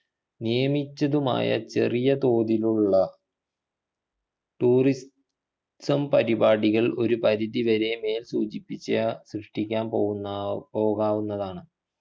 നിയമിച്ചതുമായ ചെറിയ തോതിലുള്ള tourism പരിപാടികൾ ഒരു പരിധി വരെ മേൽ സൂചിപ്പിച്ച സൃഷ്ടിക്കാൻ പോകുന്ന പോകാവുന്നതാണ്